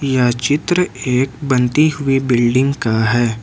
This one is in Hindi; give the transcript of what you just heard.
यह चित्र एक बनती हुई बिल्डिंग का है।